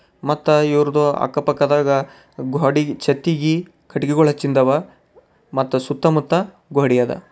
ಮತ್ತ ಇವರದು ಅಕ್ಕಪಕ್ಕದಾಗ ಗ್ವಾಡಿ ಛತ್ ಗಿ ಕಟ್ಟಿಗೆಗಳ್ ಹಚ್ಚಿಂದವ ಮತ್ತ ಸುತ್ತಮುತ್ತ ಗೋಡಿ ಅದ.